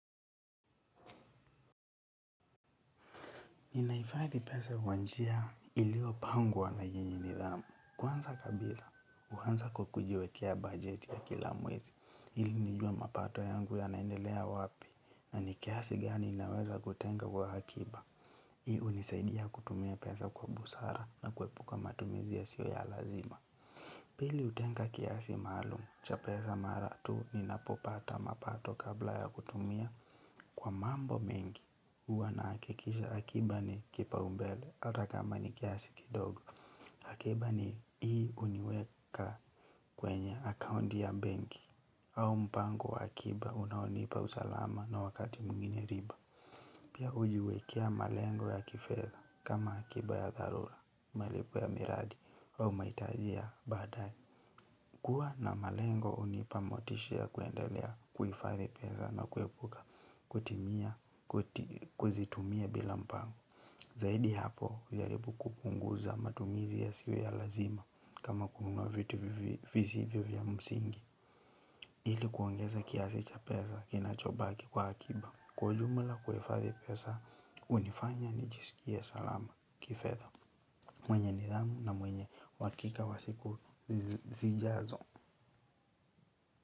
Ninahifadhi pesa kwa njia iliyopangwa wa yenye nidhamu. Kwanza kabisa, huanza kwa kujiwekea bajeti ya kila mwezi. Ili nijue mapato yangu yanaendelea wapi na ni kiasi gani naweza kutenga kwa akiba. Hii hunisaidia kutumia pesa kwa busara na kuepuka matumizi yasiyo ya lazima. Pili hutenga kiasi maalumu cha pesa mara tu ninapopata mapato kabla ya kutumia kwa mambo mengi. Huwa nahakikisha akiba ni kipaumbele hata kama ni kiasi kidogo. Akiba ni hii huniweka kwenye akaunti ya benki. Au mpango wa akiba unaonipa usalama na wakati mwingine riba. Pia hujiwekea malengo ya kifedha kama akiba ya dharura. Malipo ya miradi. Au mahitaji ya baadaye. Kuwa na malengo hunipa motisha ya kuendelea kuhifadhi peza na kuepuka. Kutimia, kuzitumia bila mpango. Zaidi ya hapo hujaribu kupunguza matumizi yasiyo ya lazima kama kununua vitu visivyo ya msingi. Ili kuongeza kiasi cha pesa kinachobaki kwa akiba. Kwa ujumula kuhifadhi pesa hunifanya nijisikie salama kifedha. Mwenye nidhamu na mwenye uhakika wa siku zijazo.